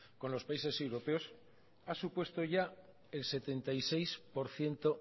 con los países europeos ha supuesto ya el setenta y seis por ciento